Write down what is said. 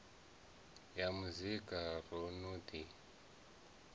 ya muzika ro no ḓi